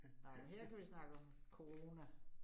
Nåh men her kan vi snakke om corona